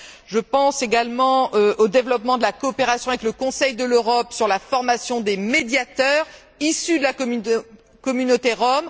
Je pense également au développement de la coopération avec le Conseil de l'Europe sur la formation des médiateurs issus de la communauté rom.